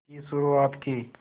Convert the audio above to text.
की शुरुआत की